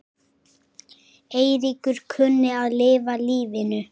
Eiríkur kunni að lifa lífinu.